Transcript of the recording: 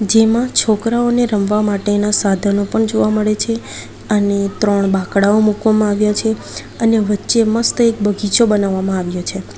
જેમાં છોકરાઓને રમવા માટેના સાધનો પણ જોવા મળે છે અને ત્રણ બાંકડાઓ મુકવામાં આવ્યા છે અને વચ્ચે મસ્ત એક બગીચો બનાવવામાં આવ્યો છે.